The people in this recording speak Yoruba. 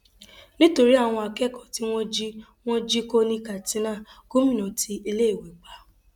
nítorí àwọn akẹkọọ tí wọn jí wọn jí kó ní katsina gómìnà ti iléèwé pa